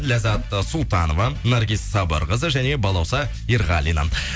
ляззат э султанова наргиз сабырқызы және балауса ерғалина